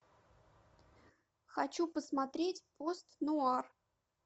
хочу посмотреть пост нуар